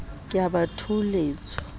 ke a ba a thoholetswa